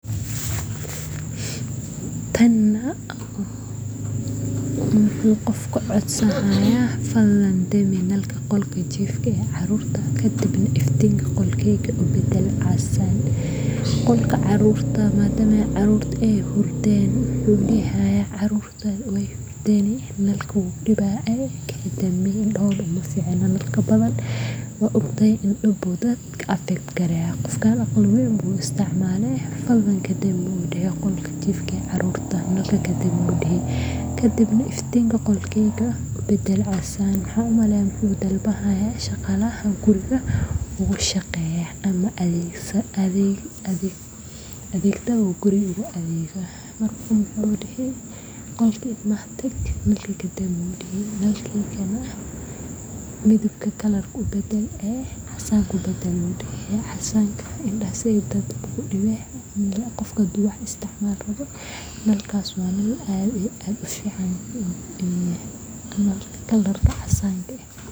fadlan dami nalka qolka jiifka ee carruurta ka dibna iftiinka qolkayga u beddel casaan